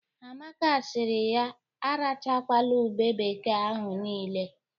Amaka siri ya arachakwala ube bekee ahụ niile.